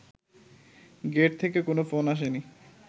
gate থেকে কোনো phone আসেনি